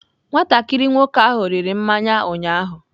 Nwatakịrị nwoke ahụ riri mmanya ụnyaahụ.